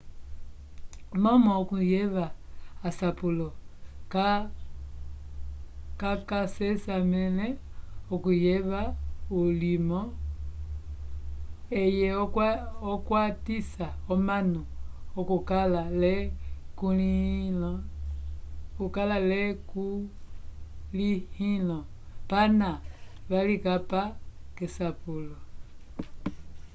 momo okuyeva asapulo ka ca sesamele okuyeva ulimo eye okwatisa omanu okukala le kulihilo pana valikapa kesapulo